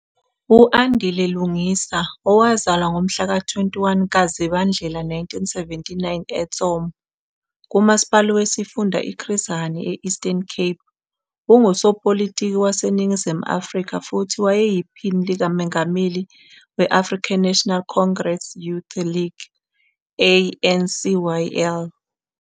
U-Andile Lungisa, owazalwa ngomhlaka 21 kaZibandlela 1979 eTsomo, kuMasipala wesiFunda iChris Hani e- Eastern Cape, ungusopolitiki waseNingizimu Afrika futhi wayeyiphini likamengameli we-African National Congress Youth League, ANCYL.